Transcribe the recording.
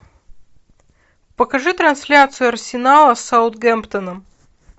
покажи трансляцию арсенала с саутгемптоном